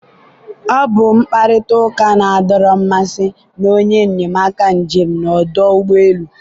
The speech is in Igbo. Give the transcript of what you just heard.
ọ bụ mkparịta ụka na-adọrọ mmasị na onye enyemaka njem na ọdụ ụgbọ elu.